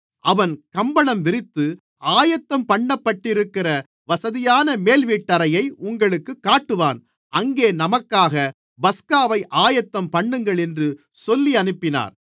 அவன் கம்பளம் விரித்து ஆயத்தம்பண்ணப்பட்டிருக்கிற வசதியான மேல்வீட்டறையை உங்களுக்குக் காட்டுவான் அங்கே நமக்காக பஸ்காவை ஆயத்தம்பண்ணுங்கள் என்று சொல்லி அனுப்பினார்